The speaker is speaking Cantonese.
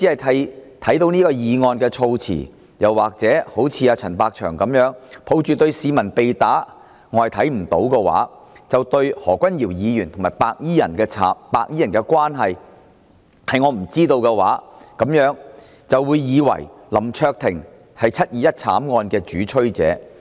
單看議案措辭，又或一如陳百祥般，抱着對市民被打"是我看不到"、對何君堯議員和白衣人的關係"是我不知道"的態度，那麼大家或會以為林卓廷議員是"七二一"慘案的主催者。